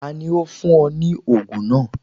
Tani o fun ọ ni oogun naa?